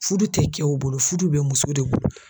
Fudu tɛ cɛw bolo fudu bɛ muso de bolo.